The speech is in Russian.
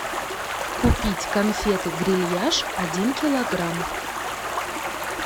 купить конфеты грильяж один килограмм